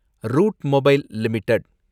root mobile limited